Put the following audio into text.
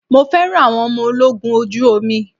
Mo fẹ́ràn àwọn ọmọ ológun ojú omi.